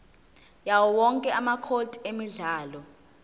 yawowonke amacode emidlalo